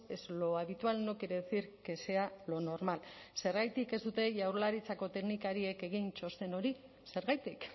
es lo habitual no quiere decir que sea lo normal zergatik ez dute jaurlaritzako teknikariek egin txosten hori zergatik